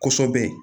Kosɛbɛ